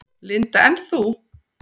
Linda: En þú?